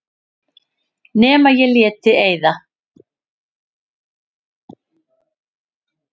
Nema ég léti eyða.